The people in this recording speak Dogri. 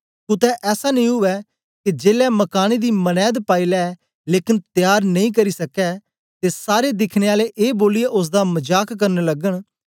कुतै ऐसा नेई उवै के जेलै मकाने दी मनैद पाई लै लेकन त्यार नेई करी सकै ते सारे दिखने आले ए बोलियै ओसदा मजाक करन लगन